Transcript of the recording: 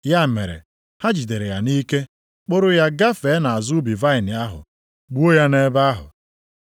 Ya mere, ha jidere ya nʼike, kpụrụ ya gafee nʼazụ ubi vaịnị ahụ, gbuo ya nʼebe ahụ.